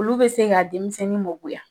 Olu bɛ se ka denmisɛnnin mɔ goya